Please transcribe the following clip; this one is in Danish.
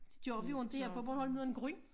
Det gør vi jo inte her på Bornholm af en grund